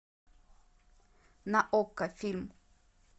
на окко фильм